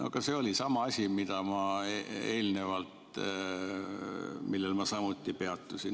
" Aga see oli sama asi, millel ma eelnevalt peatusin.